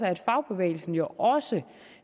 at fagbevægelsen jo også